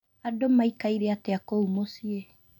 Andũ maikaire atĩa kũu mũciĩ